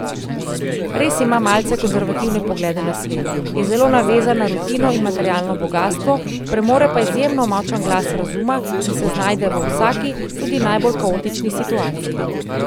Res ima malce konservativne poglede na svet, je zelo navezan na rutino in materialno bogastvo, premore pa izjemno močan glas razuma in se znajde v vsaki, tudi najbolj kaotični situaciji.